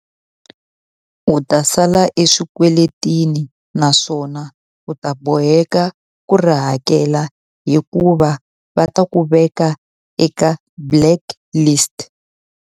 U ta sala eswikweletini naswona u ta boheka ku ri hakela hikuva va ta ku veka eka blacklist.